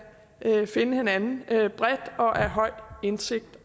finde hinanden bredt og af høj indsigt